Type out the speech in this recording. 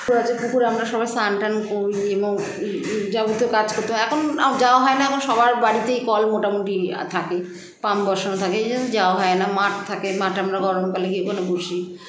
আছে পুকুর আমরা সবাই স্নান টান করি এবং মম যাবতীয় কাজ হতো এখন আর যাওয়া হয়না এখন সবার বাড়িতেই কল মোটামুটি আ থাকে পাম্প বসানো থাকে এইজন্য যাওয়া হয়না মাঠ থাকে মাঠে আমরা গরমকালে গিয়ে ওখানে বসি